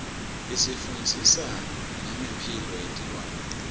isifundzisa nengemphilo yetilwane